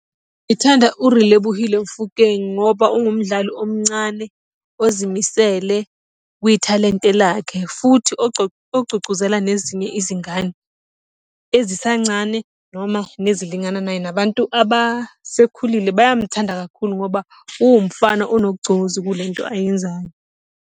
Ngithanda uRelebohile Mofokeng ngoba ungumdali omncane ozimisele kwithalente lakhe futhi ogcugcuzela nezinye izingane ezisancane noma nezilingana naye, nabantu abasekhulile bayamthanda kakhulu ngoba uwumfana onogcozi kule nto ayenzayo.